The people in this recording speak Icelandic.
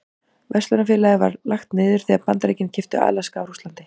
Verslunarfélagið var lagt niður þegar Bandaríkin keyptu Alaska af Rússlandi.